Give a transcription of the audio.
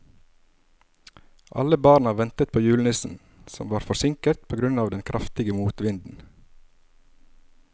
Alle barna ventet på julenissen, som var forsinket på grunn av den kraftige motvinden.